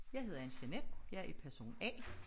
Jeg hedder Anne Jeanette jeg er person A